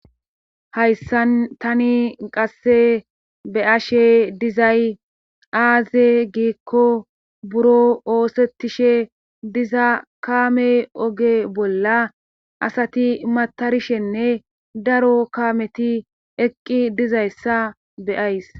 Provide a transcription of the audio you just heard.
Hayssan tani qasse be ashe dizay aaze giikko buro oosettishe diza kaame oge bolla asati matarishenne daro kaameti eqqi dizayssa beyays